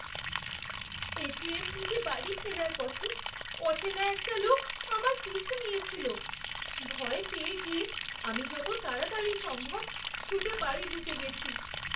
ATM থেকে বাড়ি ফেরার পথে অচেনা একটা লোক আমার পিছু নিয়েছিল। ভয় পেয়ে গিয়ে আমি যত তাড়াতাড়ি সম্ভব ছুটে বাড়ি ঢুকে গেছি।